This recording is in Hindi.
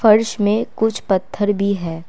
फर्श में कुछ पत्थर भी है।